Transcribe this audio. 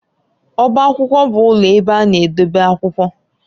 Ọbá akwụkwọ bụ ụlọ ebe a na-edebe akwụkwọ.